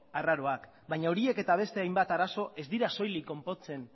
arraroak baina horiek eta beste hainbat arazo ez dira soilik konpontzen